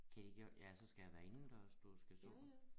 Til de gør ja så skal det være indendørs du skal så